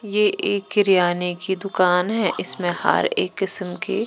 ये एक किरियाने की दुकान है इसमें हर एक किस्म की--